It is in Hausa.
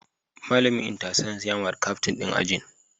Malamin Inter-Science ya mari Captain din ajin